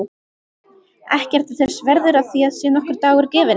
Ekki ertu þess verður að þér sé nokkur dagur gefinn.